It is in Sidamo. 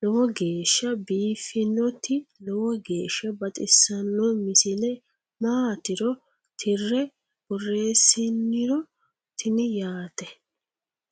lowo geeshsha biiffinnoti lowo geeshsha baxissanno misile maatiro tirre borreessiniro tini yaate